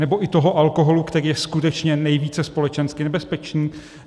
Nebo i toho alkoholu, který je skutečně nejvíce společensky nebezpečný?